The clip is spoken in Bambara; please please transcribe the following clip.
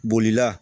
Bolila